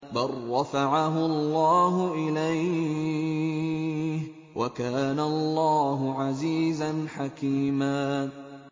بَل رَّفَعَهُ اللَّهُ إِلَيْهِ ۚ وَكَانَ اللَّهُ عَزِيزًا حَكِيمًا